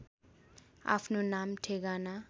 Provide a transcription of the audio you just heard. आफ्नो नाम ठेगाना